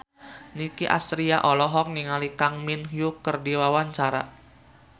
Nicky Astria olohok ningali Kang Min Hyuk keur diwawancara